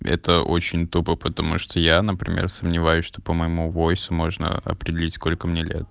это очень тупо потому что я например сомневаюсь что по моему войсу можно определить сколько мне лет